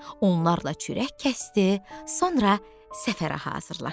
Onlarla çörək kəsdi, sonra səfərə hazırlaşdı.